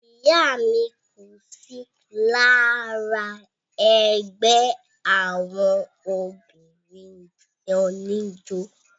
ìyá mi kò sí lára ẹgbẹ́ àwọn obìnrin oníjó